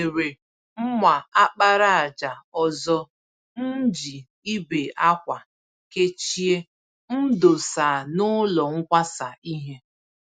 Onwere mma àkpàràjà ọzọ mji ibe-ákwà kechie m dosa n'ụlọ nkwasa ìhè